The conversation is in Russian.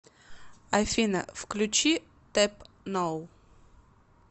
афина включи тэп ноу